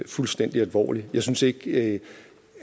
fuldstændig alvorligt jeg synes ikke